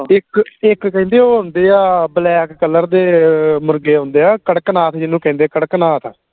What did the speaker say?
ਇਕ ਇਕ ਕਹਿੰਦੇ ਉਹ ਹੁੰਦੇ ਆ black color ਦੇ ਮੁਰਗੇ ਆਉਂਦੇ ਆ ਕਰਕਨਾਥ ਜਿਹਨੂੰ ਕਹਿੰਦੇ ਕਰਕਨਾਥ